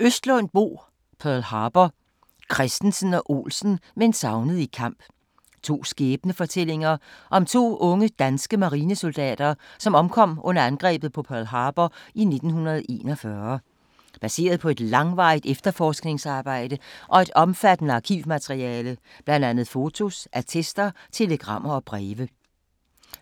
Østlund, Bo: Pearl Harbor: Christensen og Olsen meldt savnet i kamp To skæbnefortællinger om to unge danske marinesoldater som omkom under angrebet på Pearl Harbor i 1941. Baseret på et langvarigt efterforskningsarbejde og et omfattende arkivmateriale bl.a. fotos, attester, telegrammer og breve.